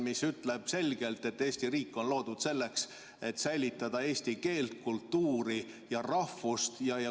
Põhiseadus ütleb selgelt, et Eesti riik on loodud selleks, et säilitada eesti keelt, kultuuri ja rahvust.